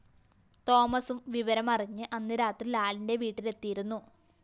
തോമസും വിവരമറിഞ്ഞ് അന്ന് രാത്രി ലാലിന്റെ വീട്ടിലെത്തിയിരുന്നു